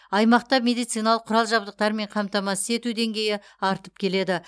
аймақта медициналық құрал жабдықтармен қамтамасыз ету деңгейі артып келеді